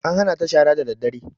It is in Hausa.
An hana ta shara daddare